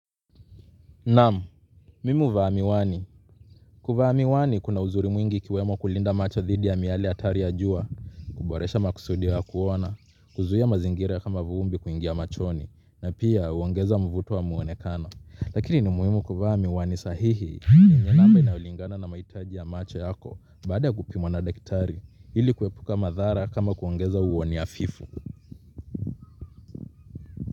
Naam mimi huvaa miwani kuvaa miwani kuna uzuri mwingi ikiwemo kulinda macho thidi ya miaale hatari ya jua kuboresha makusudio ya kuona kuzuia mazingira kama vumbi kuingia machoni na pia huongeza mvuto wa muonekano lakini ni muimu kuvaa miwani sahihi ni nye namba inaulingana na maitaji ya macho yako baada ya kupimwa na dakitari ili kuepuka madhara kama kuongeza uoni afifu.